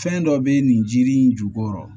Fɛn dɔ bɛ nin jiri in jukɔrɔ